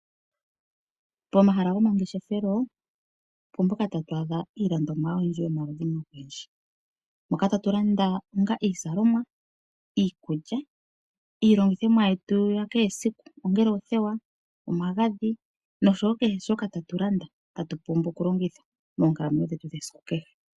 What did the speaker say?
Pomahala gomangeshefelo opo mpoka tatu adha iilondomwa yomaludhi ogendji moka tatu landa onga iizalomwa, iikulya, iilongithomwa yetu ya kehesiku ongele oothewa, omagadhi oshowo kehe shoka ta tu landa tatu pumbwa oku longitha moonkalamwenyo dhetu dhesiku kehe.